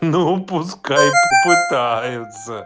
ну пускай попытается